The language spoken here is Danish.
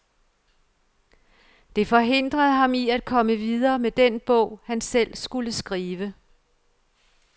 Det forhindrede ham i at komme videre med den bog, han selv skulle skrive.